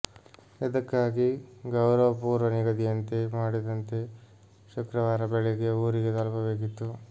ಇದಕ್ಕಾಗಿ ಗೌರವ್ ಪೂರ್ವ ನಿಗದಿಯಂತೆ ಮಾಡಿದಂತೆ ಶುಕ್ರವಾರ ಬೆಳಗ್ಗೆ ಊರಿಗೆ ತಲುಪಬೇಕಿತ್ತು